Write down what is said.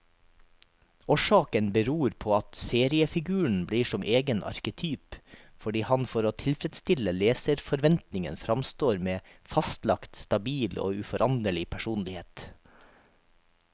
Årsaken beror på at seriefiguren blir som egen arketyp, fordi han for å tilfredstille leserforventningen framstår med fastlagt, stabil og uforanderlig personlighet.